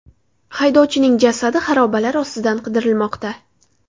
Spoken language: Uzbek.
Haydovchining jasadi xarobalar ostidan qidirilmoqda.